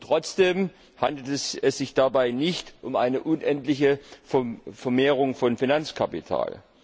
Trotzdem handelt es sich dabei nicht um eine unendliche Vermehrung von Finanzkapital.